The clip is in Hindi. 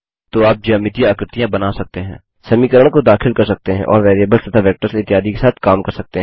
तो आप ज्यामितीय आकृतियाँ बना सकते हैं समीकरण को दाखिल कर सकते हैं और वेरिएबल्स तथा वेक्टर्स इत्यादि के साथ काम कर सकते हैं